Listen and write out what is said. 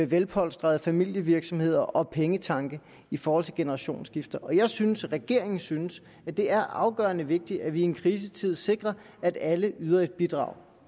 velpolstrede familievirksomheder og pengetanke i forhold til generationsskifte og jeg synes og regeringen synes at det er afgørende vigtigt at vi i en krisetid sikrer at alle yder et bidrag